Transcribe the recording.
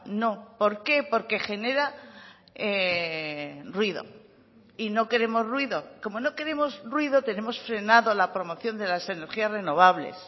no por qué porque genera ruido y no queremos ruido como no queremos ruido tenemos frenado la promoción de las energías renovables